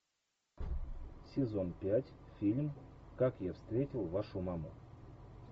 сезон пять фильм как я встретил вашу маму